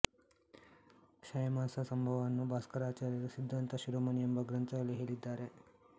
ಕ್ಷಯಮಾಸ ಸಂಭವವನ್ನು ಭಾಸ್ಕರಾಚಾರ್ಯರು ಸಿದ್ಧಾಂತ ಶಿರೋಮಣಿ ಎಂಬ ಗ್ರಂಥದಲ್ಲಿ ಹೇಳಿದ್ದಾರೆ